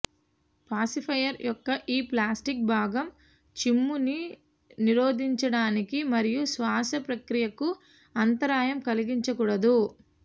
pacifier యొక్క ఈ plastic భాగం చిమ్ము నిరోధించడానికి మరియు శ్వాస ప్రక్రియకు అంతరాయం కలిగించకూడదు